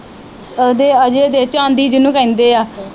ਓਹਦੇ ਅਜੈ ਦੇ ਚਾਂਦੀ ਜਿਨੂੰ ਕਹਿੰਦੇ ਆ